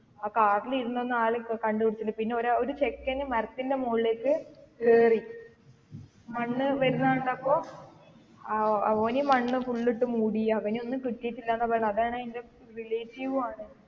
ആ car ലിരുന്ന ഒരാളെ കണ്ടുപിടിച്ചിട്ടുണ്ട് പിന്നെ ഒരു ചെക്കനെ മരത്തിൻറെ മുകളിലേക്ക് കയറി മണ്ണ് വരുന്നകണ്ടപ്പോൾ അവന് മണ്ണ് full ട്ടു മൂടി അവനെ ഒന്നും കിട്ടിയിട്ടില്ലന്ന പറയുന്നേ അതാണേ എന്റെ relative ഉം മാണ്.